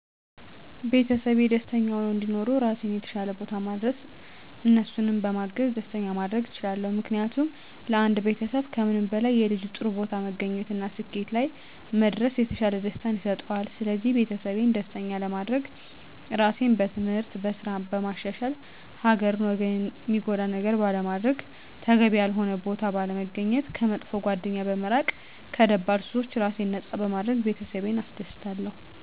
ቤተሰቤ ደስተኛ ሁነው እንዲኖሩ ራሴን የተሻለ ቦታ ማድረስ እነሱንም በማገዝ ደስተኛ ማድረግ እችላለሁ። ምክንያቱም ለአንድ ቤተሰብ ከምንም በላይ የልጁ ጥሩ ቦታ መገኘት እና ስኬት ላይ መድረስ የተሻለ ደስታን ይሰጠዋል ስለዚህ ቤተሰቤን ደስተኛ ለማድረግ ራሴን በትምህርት፣ በስራ በማሻሻል ሀገርን ወገንን ሚጎዳ ነገር ባለማድረግ፣ ተገቢ ያልሆነ ቦታ ባለመገኘት፣ ከመጥፎ ጓደኛ በመራቅ ከደባል ሱሶች ራሴን ነፃ በማድረግ ቤተሰቤን አስደስታለሁ።